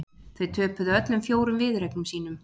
Þau töpuðu öllum fjórum viðureignum sínum